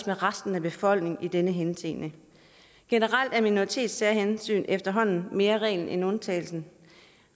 med resten af befolkningen i den henseende generelt er minoritetssærhensyn efterhånden mere reglen end undtagelsen